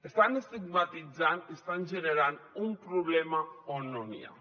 estan estigmatitzant i estan generant un problema on no n’hi ha